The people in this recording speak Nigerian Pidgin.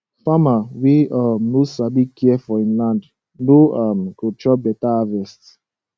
farmer wey um no sabi care for him land no um go chop better harvest